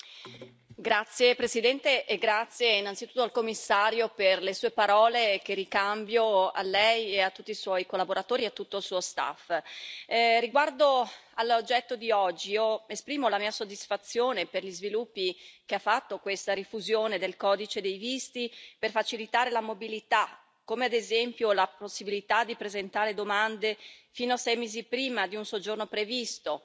Signor Presidente, onorevoli colleghi, grazie al Commissario per le Sue parole che ricambio a Lei e a tutti i suoi collaboratori e a tutto il suo staff. Riguardo all'oggetto di oggi, esprimo la mia soddisfazione per gli sviluppi che ha fatto questa rifusione del Codice dei visti per facilitare la mobilità, come ad esempio la possibilità di presentare domande fino a sei mesi prima di un soggiorno previsto